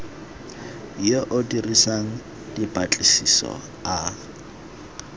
yo o dirang dipatlisiso a